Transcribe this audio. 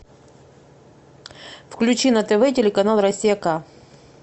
включи на тв телеканал россия к